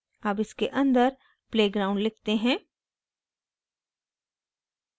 अब इसके अंदर play ground लिखते हैं